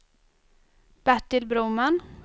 Bertil Broman